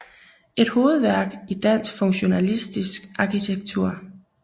Et hovedværk i dansk funktionalistisk arkitektur